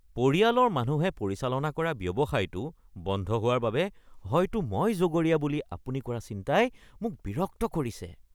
পৰিয়ালৰ মানুহে পৰিচালনা কৰা ব্যৱসায়টো বন্ধ হোৱাৰ বাবে হয়তো মই জগৰীয়া বুলি আপুনি কৰা চিন্তাই মোক বিৰক্ত কৰিছে।